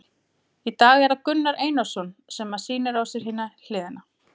Í dag er það Gunnar Einarsson sem að sýnir á sér hina hliðina.